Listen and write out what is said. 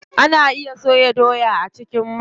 Ana iya soya doya a cikin mai.